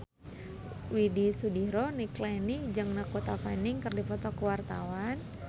Widy Soediro Nichlany jeung Dakota Fanning keur dipoto ku wartawan